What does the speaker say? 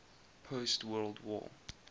post world war